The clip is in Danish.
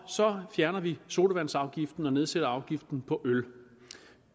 så fjerner vi sodavandsafgiften og nedsætter afgiften på øl